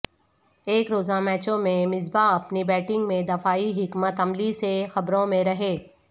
ایک روزہ میچوں میں مصباح اپنی بیٹنگ میں دفاعی حکمت عملی سے خبروں میں رہے